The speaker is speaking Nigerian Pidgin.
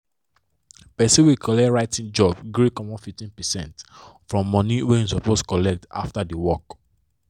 person wey colet writing job gree comot 15 percent from money wey he suppose collect after the work